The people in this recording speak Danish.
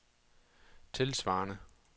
tilsvarende